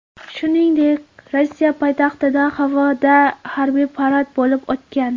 Shuningdek, Rossiya poytaxtida havoda harbiy parad bo‘lib o‘tgan.